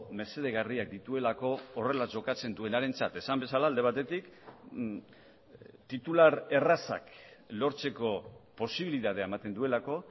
mesedegarriak dituelako horrela jokatzen duenarentzat esan bezala alde batetik titular errazak lortzeko posibilitatea ematen duelako